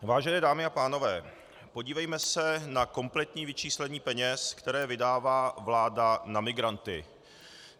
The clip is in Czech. Vážené dámy a pánové, podívejme se na kompletní vyčíslení peněz, které vydává vláda na migranty.